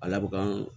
A laban